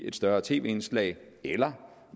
et større tv indslag eller